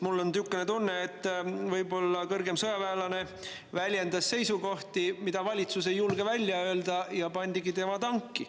Mul on niisugune tunne, et võib-olla kõrgem sõjaväelane väljendas seisukohti, mida valitsus ei julge välja öelda, ja tema pandigi tanki.